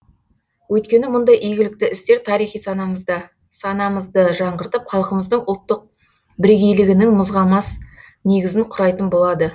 өйткені мұндай игілікті істер тарихи санамызды жаңғыртып халқымыздың ұлттық бірегейлігінің мызғымас негізін құрайтын болады